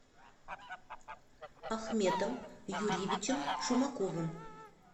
ахметом юрьевичем шумаковым